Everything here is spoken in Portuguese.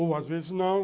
Ou, às vezes, não.